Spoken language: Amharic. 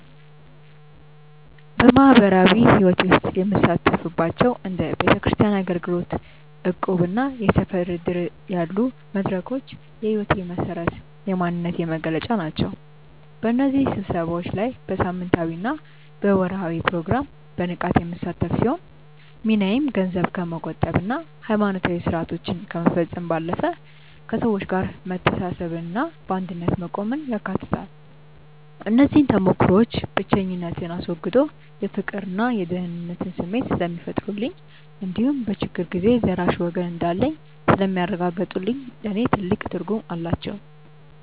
በማኅበራዊ ሕይወቴ ውስጥ የምሳተፍባቸው እንደ ቤተክርስቲያን አገልግሎት፣ እቁብና የሰፈር ዕድር ያሉ መድረኮች የሕይወቴ መሠረትና የማንነቴ መገለጫ ናቸው። በእነዚህ ስብሰባዎች ላይ በሳምንታዊና በወርኃዊ ፕሮግራም በንቃት የምሳተፍ ሲሆን፣ ሚናዬም ገንዘብ ከመቆጠብና ሃይማኖታዊ ሥርዓቶችን ከመፈጸም ባለፈ፣ ከሰዎች ጋር መተሳሰብንና በአንድነት መቆምን ያካትታል። እነዚህ ተሞክሮዎች ብቸኝነትን አስወግደው የፍቅርና የደህንነት ስሜት ስለሚፈጥሩልኝ እንዲሁም በችግር ጊዜ ደራሽ ወገን እንዳለኝ ስለሚያረጋግጡልኝ ለእኔ ትልቅ ትርጉም አላቸው።